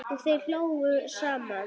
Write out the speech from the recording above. Og þeir hlógu saman.